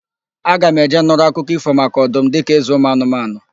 Aga m eje nụrụ akụkọ ífò maka ọdum dịka ézē ụmụanụmanụ.